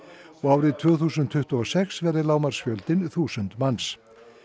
og árið tvö þúsund tuttugu og sex verði lágmarksfjöldinn þúsund manns